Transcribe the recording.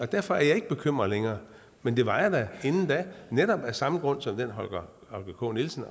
derfor er jeg ikke bekymret længere men det var jeg da inden netop af samme grund som den holger k nielsen